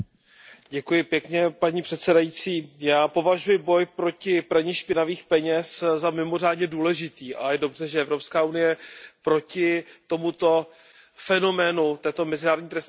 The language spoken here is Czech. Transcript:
Paní předsedající, já považuji boj proti praní špinavých peněz za mimořádně důležitý a je dobře, že Evropská unie proti tomuto fenoménu, této mezinárodní trestné činnosti bojuje.